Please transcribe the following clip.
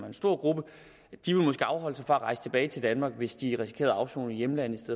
en stor gruppe fra at rejse tilbage til danmark hvis de risikerede at afsone i hjemlandet i